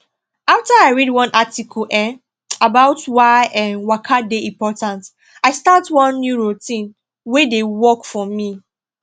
after i read one article um about why um waka dey important i start one new routine wey dey work for me